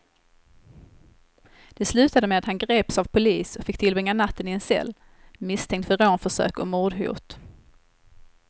Det slutade med att han greps av polis och fick tillbringa natten i en cell, misstänkt för rånförsök och mordhot.